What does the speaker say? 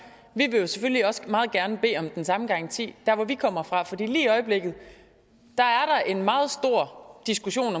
også meget gerne vil bede om den samme garanti der hvor vi kommer fra for der er lige i øjeblikket en meget stor diskussion